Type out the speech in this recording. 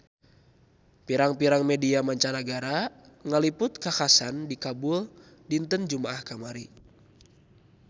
Pirang-pirang media mancanagara ngaliput kakhasan di Kabul dinten Jumaah kamari